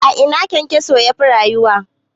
A ina KyanKyaso yafi rayuwa?